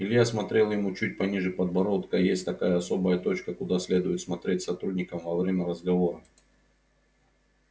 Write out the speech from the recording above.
илья смотрел ему чуть пониже подбородка есть такая особая точка куда следует смотреть сотрудникам во время разговора